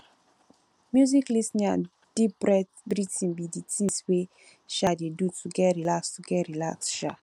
music lis ten ing and deep breathing be di things wey um i dey do to get relaxed to get relaxed um